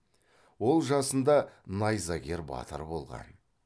ол жасында найзагер батыр болған